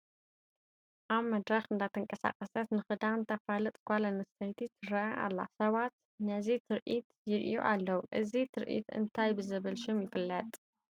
ኣብ መድረኽ እንዳተንቀሳቐሰት ንክዳን ተፋልጥ ጓል ኣነስተይቲ ትርአ ኣላ፡፡ ሰባት ነዚ ትርኢት ይርእዩ ኣለዉ፡፡ እዚ ትርኢት እንታይ ብዝብል ሽም ይፍለጥ?